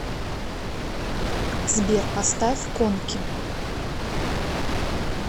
сбер поставь конки